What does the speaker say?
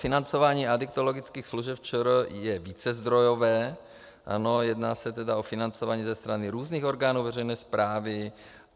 Financování adiktologických služeb ČR je vícezdrojové, jedná se tedy o financování ze strany různých orgánů veřejné správy.